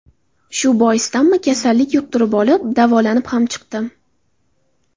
Shu boisdanmi kasallik yuqtirib olib, davolanib ham chiqdim.